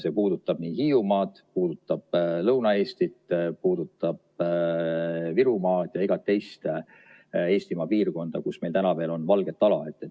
See puudutab Hiiumaad, puudutab Lõuna-Eestit, puudutab Virumaad ja iga teist Eestimaa piirkonda, kus meil täna veel on valget ala.